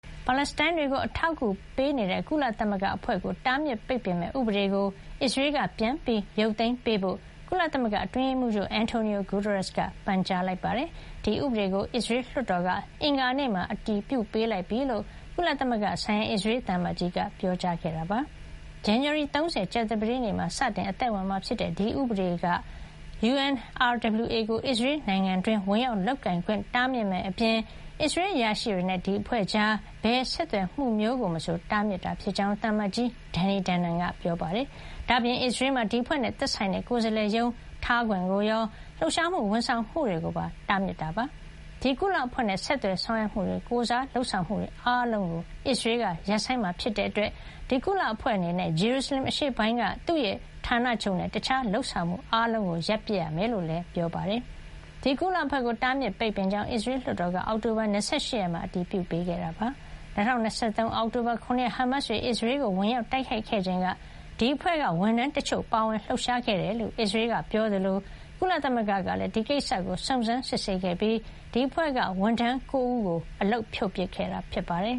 ပါလက်စတိုင်းတွေကို အထောက်အကူပေးတဲ့ ကုလသမဂ္ဂ UNRWA ကို တားမြစ်ပိတ်ပစ်မယ့် ဥပဒေကို အစ္စရေးက ပြန်လည် ရုတ်သိမ်းပေးဖို့ ကုလသမဂ္ဂအတွင်းရေးမှုးချုပ် Antonio Guterres က ပန်ကြားလိုက်ပါတယ်။ ဒီဥပဒေကို အစ္စရေးလွှတ်တော်က အင်္ဂါနေ့မှာ အတည်ပြုပေးလိုက်ပြီလို့ ကုလသမဂ္ဂဆိုင်ရာ အစ္စရေးသံအမတ်ကြီးက ပြောကြားခဲ့တာပါ။ဇန်နဝါရီ ၃၀ ကြာသပတေးနေ့မှာ စတင် အသက်ဝင်မှာ ဖြစ်တဲ့ ဒီဥပဒေက UNRWA ကို အစ္စရေးနိုင်ငံတွင်း ဝင်ရောက်လုပ်ကိုင်ခွင့် တားမြစ်မယ့် အပြင် အစ္စရေးအရာရှိတွေနဲ့ UNRWA ကြား ဘယ်ဆက်သွယ်မှု မျိုးကိုမဆို တားမြစ်ထားတာ ဖြစ်ကြောင်း သံအမတ်ကြီး Danny Danon က ပြောပါတယ်။ ဒါ့အပြင် အစ္စရေးမှာ ဒီအဖွဲ့နဲ့ သက်ဆိုင်တဲ့ ကိုယ်စားလှယ်ရုံးထားခွင့်ကိုရော၊ လှုပ်ရှားမှု ဝန်ဆောင်မှုတွေ ကိုပါ တားမြစ်တာ ဖြစ်ပါတယ်။ ဒီကုလအဖွဲ့နဲ့ ဆက်သွယ်ဆောင်ရွက်မှုတွေ ကိုယ်စားလုပ်ဆောင်မှုတွေအားလုံးကို အစ္စရေးက ရပ်ဆိုင်းမှာ ဖြစ်တဲ့ အတွက် ဒီကုလ အဖွဲ့ အနေနဲ့ ဂျေရူစလင် အရှေ့ပိုင်းက သူ့ဌာနချုပ်နဲ့ တခြား လုပ်ဆောင်မှု အားလုံးကို ရပ်ပစ်ရမှာ ဖြစ်ကြောင်းလည်း သံအမတ်ကြီးက ပြောပါတယ်။ ဒီကုလအဖွဲ့ကို တားမြစ်ပိတ်ပင်ကြောင်း အစ္စရေးလွှတ်တော်က အောက်တိုဘာ ၂၈ ရက်မှာ အတည်ပြု ပေးခဲ့တာပါ။ ၂၀၂၃ အောက်တိုဘာ ၇ ရက် ဟားမတ်စ်တွေ အစ္စရေးကို ဝင်ရောက်တိုက်ခိုက်ခဲ့ချိန်က ဒီအဖွဲ့က ဝန်ထမ်း တချို့ ပါဝင် လှုပ်ရှား ခဲ့တယ်လို့ အစ္စရေးက ပြောကြားခဲ့သလို ကုလသမဂ္ဂကလည်း ဒီကိစ္စကို စုံစမ်းစစ်ဆေးခဲ့ပြီး ဒီအဖွဲ့က ဝန်ထမ်း ၉ ဦးကို အလုပ်ဖြုတ်ခဲ့တာ ဖြစ်ပါတယ်